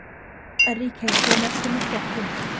Ríkey, hvenær kemur fjarkinn?